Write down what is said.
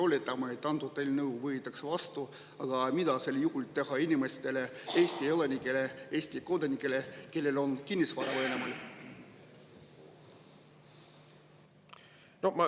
Oletame, et antud eelnõu võetakse vastu, aga mida sel juhul teha inimestel, Eesti elanikel, Eesti kodanikel, kellel on kinnisvara Venemaal?